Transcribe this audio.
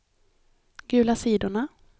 gula sidorna